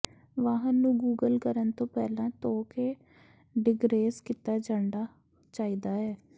ਵਾਹਨ ਨੂੰ ਗੂਗਲ ਕਰਨ ਤੋਂ ਪਹਿਲਾਂ ਧੋ ਕੇ ਡਿਗਰੇਜ਼ ਕੀਤਾ ਜਾਣਾ ਚਾਹੀਦਾ ਹੈ